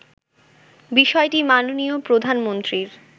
বিষয়টি মাননীয় প্রধানমন্ত্রীর